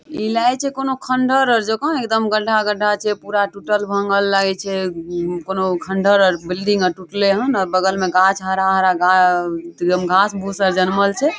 इ लागे छै कोनो खंडहर आर जाका एकदम गड्ढा गड्ढा छै पूरा टूटल भांगल लगय छै कोनो खंडहर आर बिल्डिंग आर टूटले हन बगल मे गाछ हरा-हरा एकदम घास भूसा जनमल छै।